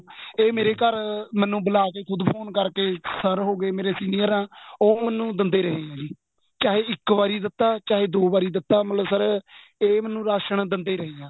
ਇਹ ਮੇਰੇ ਘਰ ਮੈਨੂੰ ਬੁਲਾ ਕੇ ਮੈਨੂੰ ਖੁੱਦ ਫੋਨ ਕਰਕੇ sir ਹੋਗੇ ਮੇਰੇ senior ਆ ਉਹ ਮੈਨੂੰ ਦਿੰਦੇ ਰਹੇ ਜੀ ਚਾਹੇ ਇੱਕ ਦਿੱਤਾ ਚਾਹੇ ਦੋ ਵਾਰੀ ਦਿੱਤਾ ਮਤਲਬ sir ਏ ਮੈਨੂੰ ਰਾਸ਼ਣ ਦਿੰਦੇ ਰਹੇ ਹਾਂ